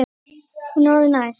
Hún er orðin æst.